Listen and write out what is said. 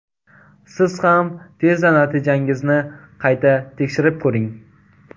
Siz ham tezda natijangizni qayta tekshirib ko‘ring.